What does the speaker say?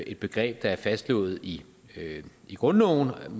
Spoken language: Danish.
et begreb der er fastslået i grundloven